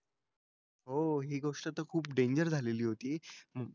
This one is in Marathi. हो हि गोष्ट तर खूप डेंजर झालेली होती.